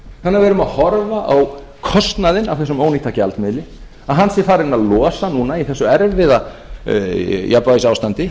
þannig að við verðum að horfa á kostnaðinn af þessum ónýta gjaldmiðli að hann sé farinn að losa núna í þessu erfiða jafnvægisástandi það